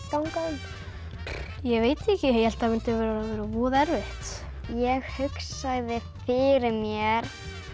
ganga um ég veit ekki ég hélt það myndi verða voða erfitt ég hugsaði fyrir mér